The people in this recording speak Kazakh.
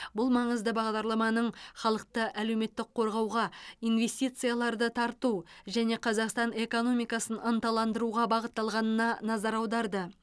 бұл маңызды бағдарламаның халықты әлеуметтік қорғауға инвестицияларды тарту және қазақстан экономикасын ынталандыруға бағытталғанына назар аударды